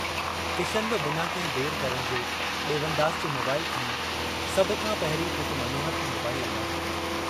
किशन बि बिना कहिं देर करण जे डेवनदास जो मोबाईल खंयो सभ खां पहिरीं पुट मनोहर खे मोबाईल लगायो।